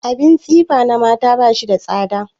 Abin tsifa na mata ba shi da tsada.